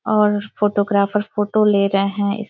और photographer photo ले रहे हैं।